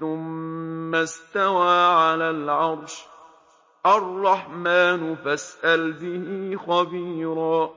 ثُمَّ اسْتَوَىٰ عَلَى الْعَرْشِ ۚ الرَّحْمَٰنُ فَاسْأَلْ بِهِ خَبِيرًا